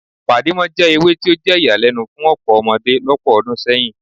Pàdímọ́ jẹ́ ewé tí ó jẹ́ ìyàlẹ́nu fún ọ̀pọ̀ ọmọdé lọ́pọ̀ ọdún sẹ́yìn